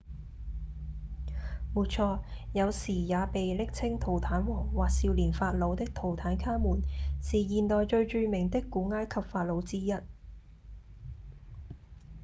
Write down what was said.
沒錯！有時也被暱稱「圖坦王」或「少年法老」的圖坦卡門是現代最著名的古埃及法老之一